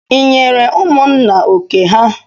I nyere ụmụnna oké ha?